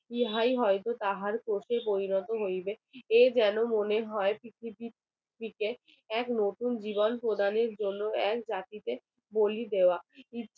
ইহাই হয়তো তাহার পক্ষে পরিণত হইবে এই যেন মনে হয় পৃথিবীর থেকে এক নতুন জীবন প্রানের জন্য এক জাতিকে বলি দেওয়া